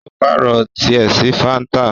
o paarọ tiẹ sí fanta.